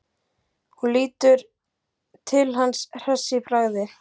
Hún lítur til hans hress í bragði.